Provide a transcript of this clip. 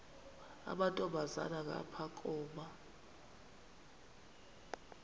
amantombazana ngapha koma